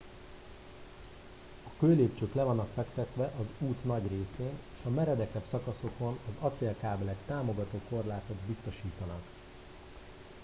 a kőlépcsők le vannak fektetve az út nagy részén és a meredekebb szakaszokon az acélkábelek támogató korlátot biztosítanak